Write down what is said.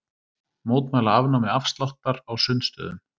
Mótmæla afnámi afsláttar á sundstöðum